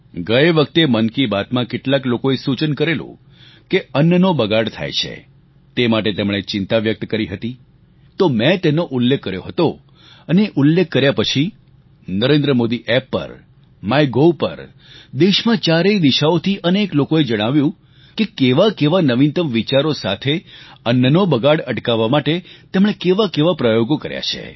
ગયે વખતે મન કી બાતમાં કેટલાક લોકોએ સૂચન કરેલું કે અન્નનો બગાડ થાય છે તે માટે તેમણે ચિંતા વ્યક્ત કરી હતી તો મેં તેનો ઉલ્લેખ કર્યો હતો અને એ ઉલ્લેખ કર્યા પછી નરેન્દ્ર મોદી એમ પર માય ગવ પર દેશમાં ચારેય દિશાઓથી અનેક લોકોએ જણાવ્યું કે કેવા કેવા નવિનતમ વિચારો સાથે અન્નનો બગાડ અટકાવવા માટે તેમણે કેવા કેવા પ્રયોગો કર્યા છે